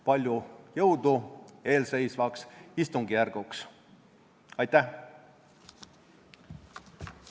Palju jõudu eelseisvaks istungjärguks!